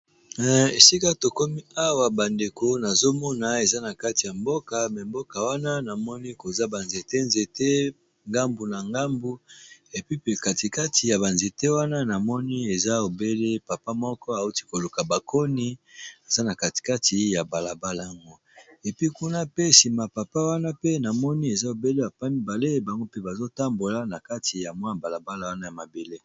sika to komi awa bandeko nazomona eza na kati ya mboka me mboka wana namoni koza banzete nzete ngambu na ngambu epi pe katikati ya banzete wana na moni eza obele papa moko auti koluka bakoni eza na katikati ya balabala yango epi kuna pe nsima papa wana pe na moni eza obele yapa mibale bango mpe bazotambola na kati ya mwa balabala wana ya mabele.